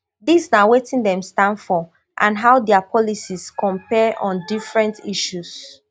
dis na wetn dem stand for and how dia policies compare on different issues